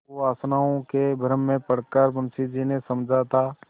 कुवासनाओं के भ्रम में पड़ कर मुंशी जी ने समझा था